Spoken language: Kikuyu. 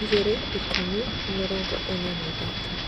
igĩri:ikũmi:mirongo ĩna na ithatũ